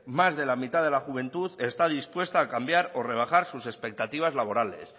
más de la mitad de la juventud está dispuesta a cambiar o rebajar sus expectativas laborales